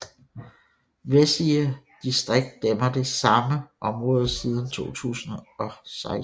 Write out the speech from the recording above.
Vessige distrikt dækker det samme område siden 2016